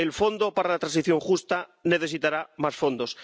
el Fondo para la Transición Justa necesitará más fondos.